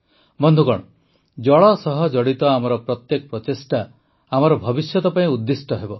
ବନ୍ଧୁଗଣ ଜଳ ସହ ଜଡ଼ିତ ଆମର ପ୍ରତ୍ୟେକ ପ୍ରଚେଷ୍ଟା ଆମର ଭବିଷ୍ୟତ ପାଇଁ ଉଦ୍ଦିଷ୍ଟ ହେବ